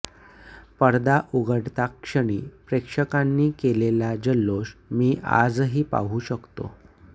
पडदा उघडताक्षणी प्रेक्षकांनी केलेला जल्लोष मी आजही पाहू शकतो